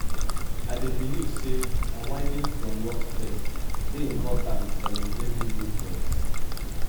i dey believe say unwinding from work stress dey important for maintaining good health.